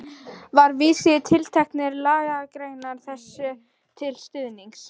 Var vísað í tilteknar lagagreinar þessu til stuðnings.